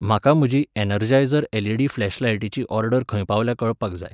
म्हाका म्हजी Energizer LED फ्लॅशलायटीची ऑर्डर खंय पावल्या कळपाक जाय